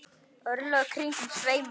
örlög kringum sveima